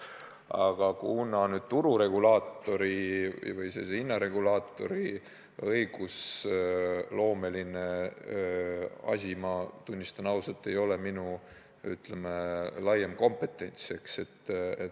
Aga tururegulaatorisse või sellisesse hinnaregulaatorisse puutuv õigusloome, tunnistan ausalt, ei ole minu laiem kompetentsivaldkond.